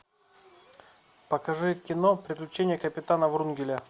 покажи кино приключения капитана врунгеля